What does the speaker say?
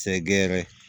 Sɛgɛrɛ